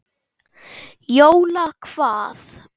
Jóla hvað?